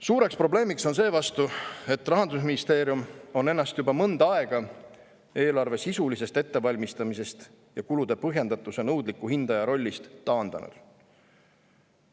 Suur probleem on seevastu see, et Rahandusministeerium on ennast juba mõnda aega eelarve sisulisest ettevalmistamisest ja kulude põhjendatuse nõudliku hindaja rollist taandanud.